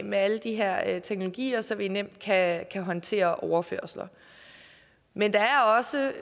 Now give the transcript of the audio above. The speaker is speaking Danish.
med alle de her teknologier så vi nemt kan håndtere overførsler men der er også